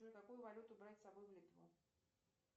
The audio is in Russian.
джой какую валюту брать с собой в литву